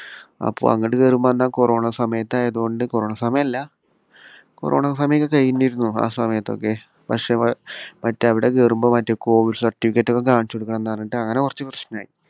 അപ്പോ അങ്ങോട്ട് കയറുമ്പോള് അന്ന് ആ കൊറോണ സമയത്ത് ആയിരുന്നതുകൊണ്ട് കൊറോണ സമയം അല്ല കൊറോണ സമയമൊക്കെ കഴിഞ്ഞിരുന്നു ആ സമയത്തൊക്കെ പക്ഷേ മറ്റ് അവിടെ കയറുമ്പോൾ കോവിഡ് certificate ഒക്കെ കാണിച്ചുകൊടുക്കണമെന്ന് പറഞ്ഞിട്ട് അങ്ങനെ കുറച്ച് പ്രശ്നമുണ്ടായി.